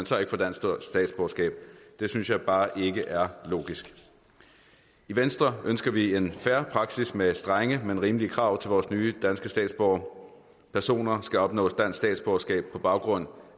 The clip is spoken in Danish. så ikke får dansk statsborgerskab synes jeg bare ikke er logisk i venstre ønsker vi en fair praksis med strenge men rimelige krav til vores nye danske statsborgere personer skal opnå dansk statsborgerskab på baggrund